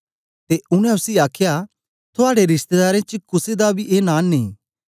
ते उनै उसी आखया थुआड़े रिशतेदारें च कुसे दा बी ए नां नेई